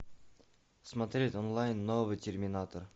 смотреть онлайн новый терминатор